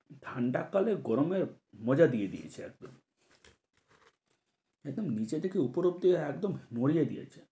ঠান্ডা কালে গরমের মজা দিয়ে দিয়েছে একদম একদম নীচে থেকে উপর অবধি একদম নড়িয়ে দিয়েছে।